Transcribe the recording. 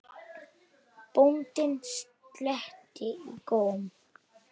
Er þér illa við hana?